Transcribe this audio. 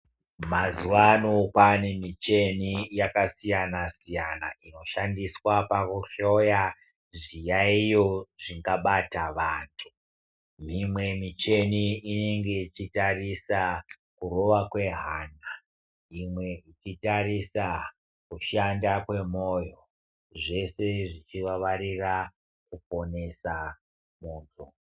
Mazuwano kwane micheni yakasiyana siyana inoshandiswa pakuhloya zviyayiyo zvingabata vantu. Mimwe micheni inenge ichitarisa kurova kwehana, imwe ichitarisa kushanda kwemoyo zvese zvichivavarira kuponesa muntu.